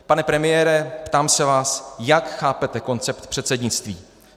Pane premiére, ptám se vás, jak chápete koncept předsednictví.